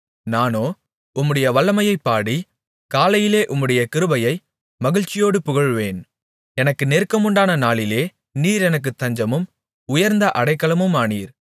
நானோ உம்முடைய வல்லமையைப் பாடி காலையிலே உம்முடைய கிருபையை மகிழ்ச்சியோடு புகழுவேன் எனக்கு நெருக்கமுண்டான நாளிலே நீர் எனக்குத் தஞ்சமும் உயர்ந்த அடைக்கலமுமானீர்